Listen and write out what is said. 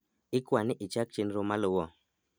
ikwani ichak chenro maluo